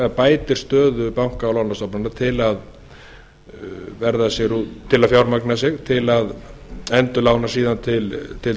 bætir stöðu banka og lánastofnana til að fjármagna sig til að endurlána síðan til